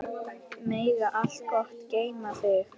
Megi allt gott geyma þig.